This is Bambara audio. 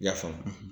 I y'a faamu